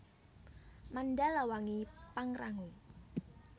Mandalawangi Pangrango